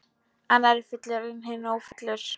Annar er fullur en hinn ófullur.